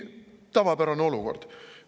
Tavapärane olukord.